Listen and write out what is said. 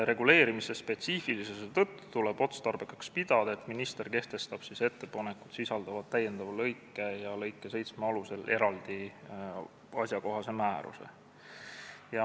Reguleerimiseseme spetsiifilisuse tõttu tuleb otstarbekaks pidada, et minister kehtestab ettepanekus sisalduva täiendava lõike ja lõike 7 alusel eraldi asjakohased määrused.